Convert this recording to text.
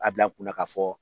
A bila kunna k'a fɔ